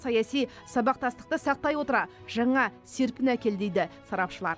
саяси сабақтастықты сақтай отыра жаңа серпін әкелді дейді сарапшылар